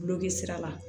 Dulɔki sira la